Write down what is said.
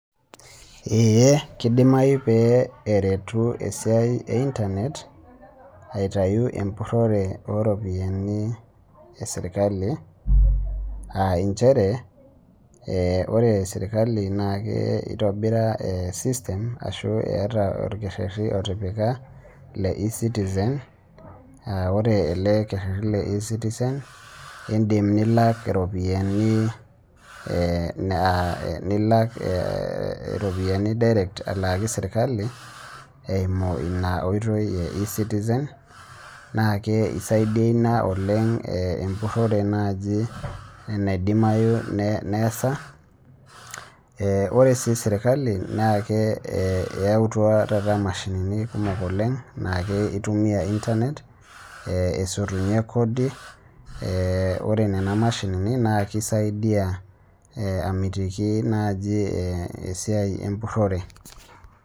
Ee kidimayu pee eretu esiai ee internet aitayu empurore oo ropiani ee sirkali aa njere ore sirkali eitobira esystem ashu etaa orkereti otipika lee ecitizen aa ore le kereti lee ecitizen edim nilak eropiani nilak direct alakii sirkali eyimu ena oitoi ee ecitizen kisaidia ena oleng empurore naaji naidimayu neesa ore sii sirkali naa eyautua taata mashinini kumok oleng naa kitumia internet esutunyie Kodi ore Nena mashinini naa kisaidia amitiki naaji esiai empurore